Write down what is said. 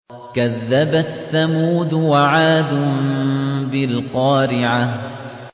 كَذَّبَتْ ثَمُودُ وَعَادٌ بِالْقَارِعَةِ